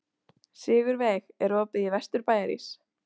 Sigurveig, er opið í Vesturbæjarís?